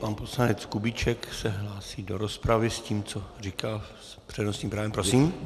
Pan poslanec Kubíček se hlásí do rozpravy s tím, co říkal, s přednostním právem, prosím.